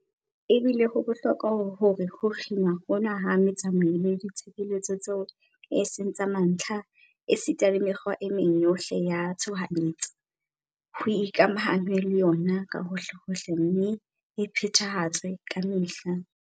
Ebile ho bohlokwa hore ho kginwa hona ha metsamao le ditshebeletso tseo e seng tsa mantlha esita le mekgwa e meng yohle ya tshohanyetso, ho ikamahanngwe le yona kahohlehohle mme e phethahatswe kamehla.